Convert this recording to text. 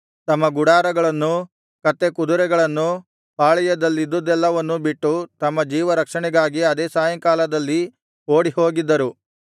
ತಮ್ಮ ಗುಡಾರಗಳನ್ನೂ ಕತ್ತೆ ಕುದುರೆಗಳನ್ನೂ ಪಾಳೆಯದಲ್ಲಿದ್ದುದ್ದೆಲ್ಲವನ್ನೂ ಬಿಟ್ಟು ತಮ್ಮ ಜೀವರಕ್ಷಣೆಗಾಗಿ ಅದೇ ಸಾಯಂಕಾಲದಲ್ಲಿ ಓಡಿಹೋಗಿದ್ದರು